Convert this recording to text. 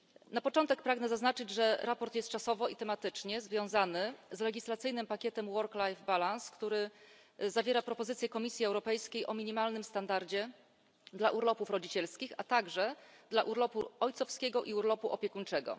Na początek pragnę zaznaczyć, że sprawozdanie jest czasowo i tematycznie związane z legislacyjnym pakietem work life balance który zawiera propozycje Komisji Europejskiej dotyczące minimalnego standardu w zakresie urlopów rodzicielskich, a także urlopu ojcowskiego i urlopu opiekuńczego.